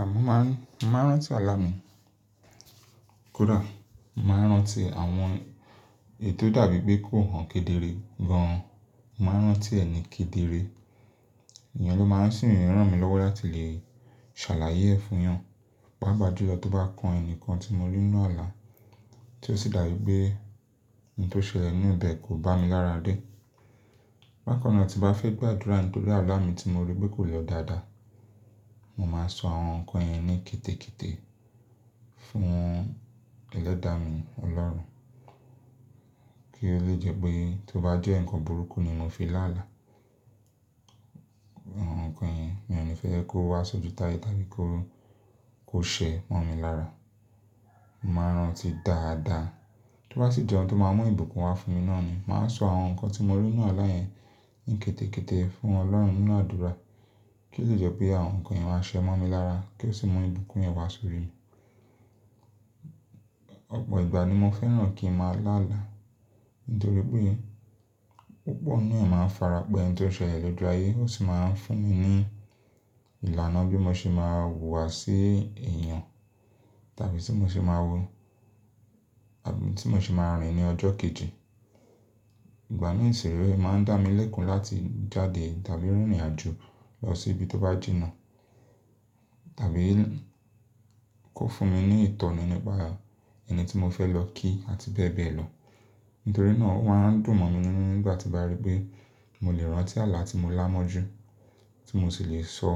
Àmọ́ má rán, màá rán tí àlá mi kódà, mo màá rán tí àwọn èyii tò dàbí pé kò hàn kedere gan, mo màá rán tí ẹni kedere. Ènìyàn ló máa ń sì ń ràn mí lọ́wọ́ láti lè ṣàlàyé ẹ̀ fún èèyàn. Páà pà jú lọ tó bá kan ẹnìkan tí mo rí ninu àlá, tí ó sì dàbí pé ohun tó ṣẹlẹ̀ nínú ibẹ̀ kò bá mi lára dé. Bákan náà tí bá fẹ́ gba àdúrà nítorí àlá mi tí mo rí pé kò lọ dáadáa, mo máa sọ àwọn nǹkan yẹn ní kete kete fún ẹlẹ́dàá mi, Ọlọ́run. Kí ó lè jẹ́ pé tó bá jẹ́ ǹkan burúkú ni mo fi lá àlá, àwọn nǹkan yẹn mi ò ní fẹ́ kó wá ṣojú taye tàbí kó, kó ṣẹ mọ́ mi lára. Mo màá n rán tí dáadáa, tó bá sì jẹ oun tó máa mú ìbùkún wá fún mi náà ni, màá sọ àwọn nǹkan tí mo rí ninu àlá yẹn ní kete kete fún Ọlọ́run nínú àdúrà kí ó lè jẹ́ pé àwọn nǹkan yẹn wá ṣẹ mọ́ mi lára kí ó sì mú ìbùkún yẹn wá sórí mi. Ọ̀pọ̀ ìgbà ni mo fẹ́ràn kí n máa lá àlá, nítorí pé púpọ̀ nínú ẹ̀ máa ń fara pẹ oun tó ṣẹlẹ̀ lójú ayé, ó sì máa ń fún mi ní ìlànà bí mo ṣe máa wùwà sí èèyàn, tàbí tí mo ṣe máa wo, tàbí tí mo ṣe máa rìn ìrìn ọjọ́ kejì. Ìgbà mi ṣi rèé o máa ń dá mi lẹ́kún láti jáde tàbí rìn ìrìnàjò lọ sí ibi tó bá jìnnà. Tàbí kó fún mi ní ìtọ̀na nípa ẹni tí mo fẹ́ lọ kí àti bẹ́ẹ̀ bẹ́ẹ̀ lọ. Nítorí náà ó máa ń dùn mọ́ mi ninu nígbà tí bá rí pé mo lè rán tí àlá tí mo lámọ̀jú, tí mo sì lè sọ